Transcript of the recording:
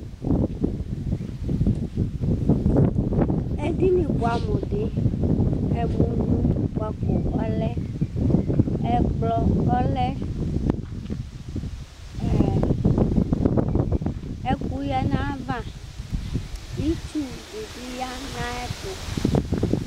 edini buamu di ẽmunu kpako ɔlẽ ɛkpõ ɔlẽ eẽ 1